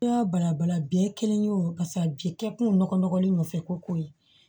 Balabala biɲɛ kelen ye o paseke a bi kɛ kun nɔgɔlen nɔfɛ ko ye